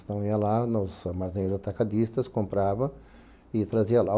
Então ia lá nos armazéns atacadistas, comprava e trazia lá.